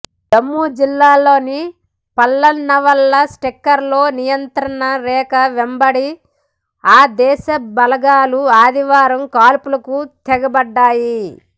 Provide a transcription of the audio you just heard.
జమ్మూ జిల్లాలోని పల్లన్వాలా సెక్టార్లో నియంత్రణ రేఖ వెంబడి ఆ దేశ బలగాలు ఆదివారం కాల్పులకు తెగబడ్డాయి